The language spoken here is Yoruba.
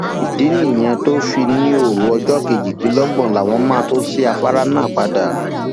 ìdí nìyí tó fi ní òru ọjọ kejìdínlọgbọn làwọn máa tòò ṣí afárá náà padà